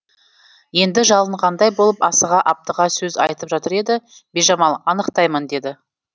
енді жалынғандай болып асыға аптыға сөз айтып жатыр еді бижамал анықтаймын деді